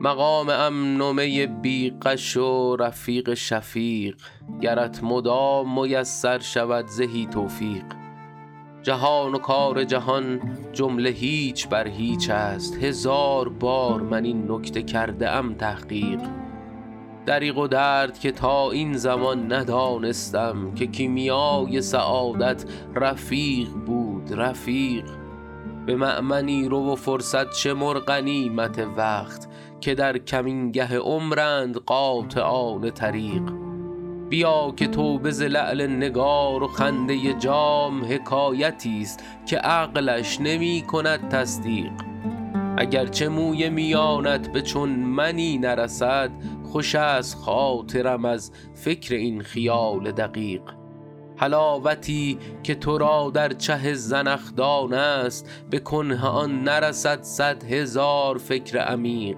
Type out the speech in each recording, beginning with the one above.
مقام امن و می بی غش و رفیق شفیق گرت مدام میسر شود زهی توفیق جهان و کار جهان جمله هیچ بر هیچ است هزار بار من این نکته کرده ام تحقیق دریغ و درد که تا این زمان ندانستم که کیمیای سعادت رفیق بود رفیق به مأمنی رو و فرصت شمر غنیمت وقت که در کمینگه عمرند قاطعان طریق بیا که توبه ز لعل نگار و خنده جام حکایتی ست که عقلش نمی کند تصدیق اگر چه موی میانت به چون منی نرسد خوش است خاطرم از فکر این خیال دقیق حلاوتی که تو را در چه زنخدان است به کنه آن نرسد صد هزار فکر عمیق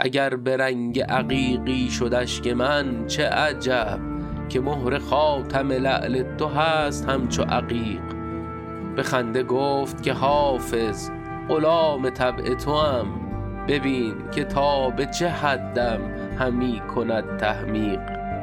اگر به رنگ عقیقی شد اشک من چه عجب که مهر خاتم لعل تو هست همچو عقیق به خنده گفت که حافظ غلام طبع توام ببین که تا به چه حدم همی کند تحمیق